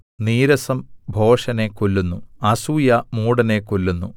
നീരസം ഭോഷനെ കൊല്ലുന്നു അസൂയ മൂഢനെ കൊല്ലുന്നു